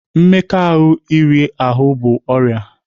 Mmekọahụ iri ahụ bụ ọrịa.